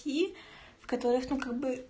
картошка